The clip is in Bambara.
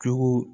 Jogo